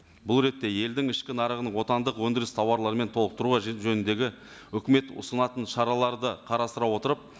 бұл ретте елдің ішкі нарығын отандық өндіріс тауарларымен толықтыру жөніндегі үкімет ұсынатын шараларды қарастыра отырып